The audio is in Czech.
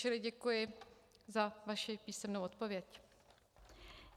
Čili děkuji za vaši písemnou odpověď.